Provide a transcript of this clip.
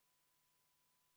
Oi, vabandust-vabandust!